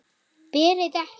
Berð ekki.